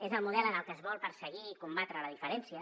és el model en el que es vol perseguir i combatre la diferència